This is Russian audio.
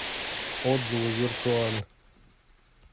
отзывы виртуаль